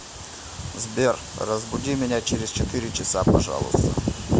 сбер разбуди меня через четыре часа пожалуйста